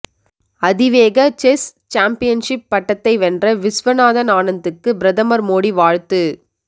அதிவேக chess championship பட்டத்தை வென்ற விஷ்வநாதன் ஆனந்துக்கு பிரதமர் மோடி வாழ்த்து